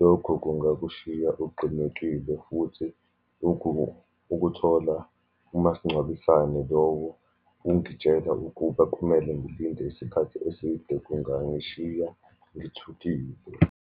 lokho kungakushiya uqinekile, futhi ukuthola umasingcwabisane lowo ungitshela ukuba kumele ngilinde isikhathi eside, kungangishiya ngithukile.